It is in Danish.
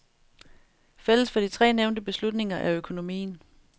Fælles for de tre nævnte beslutninger er økonomien.